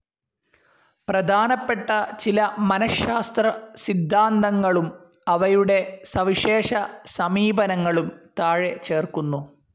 പ്രധാനപ്പെട്ട ചില മനഃശാസ്ത്ര സിദ്ധാന്തങ്ങളും അവയുടെ സവിശേഷ സമീപനങ്ങളും താഴെ ചേർക്കുന്നു.